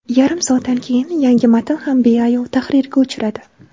Yarim soatdan keyin yangi matn ham beayov tahrirga uchradi.